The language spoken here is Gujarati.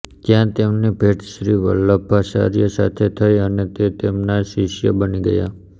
ત્યાં તેમની ભેટ શ્રી વલ્લભાચાર્ય સાથે થઈ અને તે તેમના શિષ્ય બની ગયા